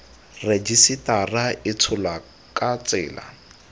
rejisetara e tsholwa ka tsela